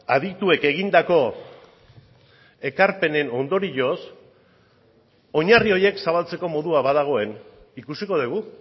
adituek egindako ekarpenen ondorioz oinarri horiek zabaltzeko modua badagoen ikusiko dugu